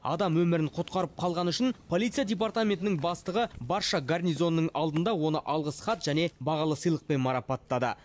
адам өмірін құтқарып қалғаны үшін полиция департаментінің бастығы барша гарнизонның алдында оны алғыс хат және бағалы сыйлықпен марапаттады